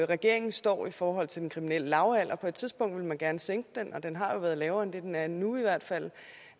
regeringen står i forhold til den kriminelle lavalder på et tidspunkt ville man gerne sænke den og den har jo været lavere end det den er nu i hvert fald